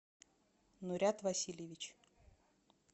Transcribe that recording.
нурят васильевич